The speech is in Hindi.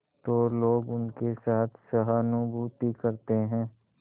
तो लोग उनके साथ सहानुभूति करते हैं